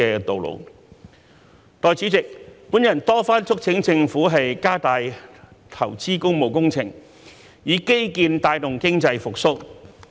代理主席，我多番促請政府加大投資工務工程，以基建帶動經濟復蘇。